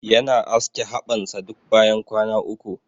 Yana aske haɓan sa duk bayan kwana uku.